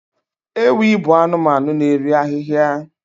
Ewi bụ anụmanụ na-eri ahịhịa